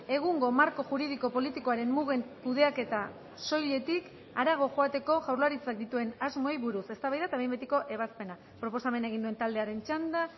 egungo marko juridiko politikoaren mugen kudeaketa soiletik harago joateko jaurlaritzak dituen asmoei buruz eztabaida eta behin betiko ebazpena proposamena egin duen taldearen txanda